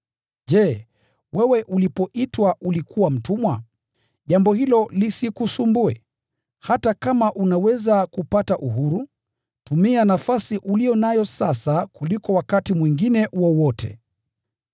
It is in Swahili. Je, wewe ulipoitwa ulikuwa mtumwa? Jambo hilo lisikusumbue. Ingawaje unaweza kupata uhuru, tumia nafasi uliyo nayo sasa kuliko wakati mwingine wowote.